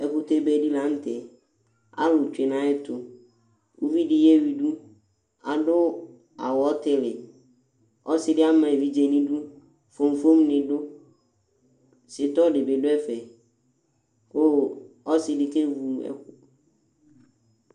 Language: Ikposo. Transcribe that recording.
Ɛkʋtɛ beɖi la ŋtɛ Alu tsue nu ayʋɛtu Ʋviɖi yewuiɖu Aɖu awu ɔtili Ɔsiɖi ɖi ama evidze ŋu iɖʋ Fofom ni ɖu Sitrɔ ŋíbi ɖu ɛfɛ kʋ ɔsiɖi